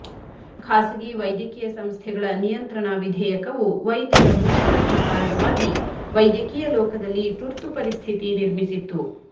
ಖಾಸಗಿ ವೈದ್ಯಕೀಯ ಸಂಸ್ಥೆಗಳ ನಿಯಂತ್ರಣ ವಿದೇಯಕವು ವೈದ್ಯರ ಮುಷ್ಕರಕ್ಕೆ ಕಾರಣವಾಗಿ ವೈದ್ಯಕೀಯ ಲೋಕದಲ್ಲಿ ತುರ್ತು ಪರಿಸ್ಥಿತಿ ನಿರ್ಮಿಸಿತ್ತು